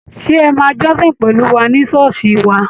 Ṣé ẹ máa jọ́sìn pẹ̀lú wà ní ṣọ́ọ̀ṣì wa?